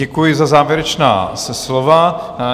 Děkuji za závěrečná slova.